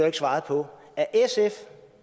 ikke svaret på